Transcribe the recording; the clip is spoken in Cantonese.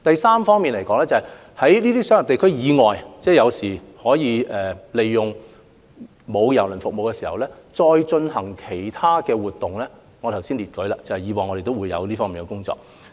此外，關於在商業地區以外，可以利用沒有提供郵輪服務的時間進行其他活動的建議，我剛才也列舉了我們以往在這方面的工作。